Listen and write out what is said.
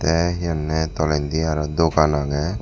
teh he honneh toldendi aroh dogan ageh.